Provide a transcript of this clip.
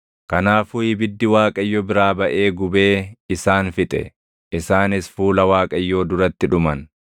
Kanaafuu ibiddi Waaqayyo biraa baʼee gubee isaan fixe; isaanis fuula Waaqayyoo duratti dhuman.